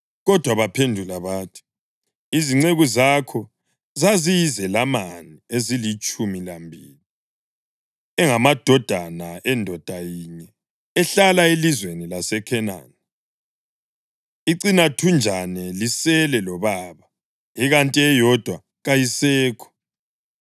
Kodwa baphendula bathi, “Izinceku zakho zaziyizelamani ezilitshumi lambili, engamadodana endoda yinye, ehlala elizweni laseKhenani. Icinathunjana lisele lobaba, ikanti eyodwa kayisekho.”